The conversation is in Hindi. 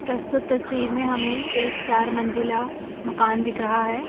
प्रस्तुत तस्वीर में हमें एक चार मंजिला मकान दिख रहा है।